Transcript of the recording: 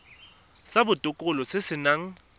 sa botokololo se se nang